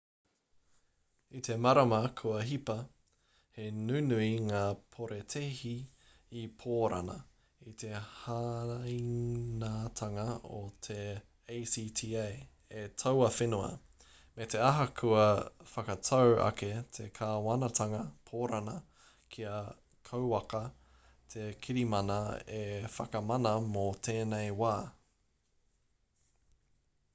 i te marama kua hipa he nunui ngā porotēhi i pōrana i te hāinatanga o te acta e taua whenua me te aha kua whakatau ake te kāwanatanga pōrana kia kauaka te kirimana e whakamana mō tēnei wā